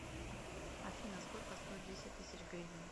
афина сколько стоит десять тысяч гривен